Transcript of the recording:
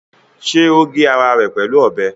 Ṣé o gé ara rẹ̀ pẹ̀lú ọbẹ̀?